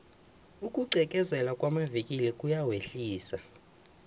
ukugqekezelwa kwamavikili kuyawehlisa